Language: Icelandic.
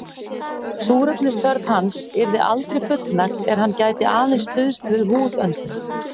Súrefnisþörf hans yrði aldrei fullnægt er hann gæti aðeins stuðst við húðöndun.